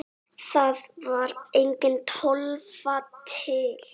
Þá var engin Tólfa til!